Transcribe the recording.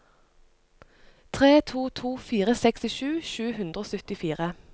tre to to fire sekstisju sju hundre og syttifire